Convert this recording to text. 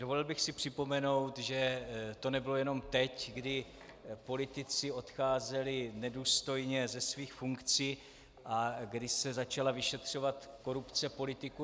Dovolil bych si připomenout, že to nebylo jenom teď, kdy politici odcházeli nedůstojně ze svých funkcí a kdy se začala vyšetřovat korupce politiků.